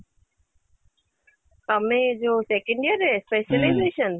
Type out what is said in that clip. ତମେ ଯୋଉ second year ରେ ଅଛ